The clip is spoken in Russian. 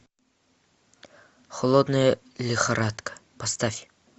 холодная лихорадка поставь